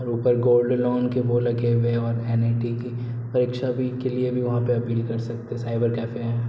और ऊपर gold loan के वो लगे हुए हैं और एन.आई.टी. की परीक्षा के लिए भी वहां अपील कर सकते है साइबर कैफे है।